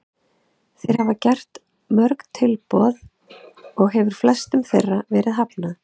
Þeir hafa gert mörg tilboð og hefur flestum þeirra verið hafnað.